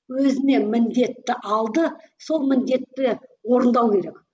өзіне міндетті алды сол міндетті орындау керек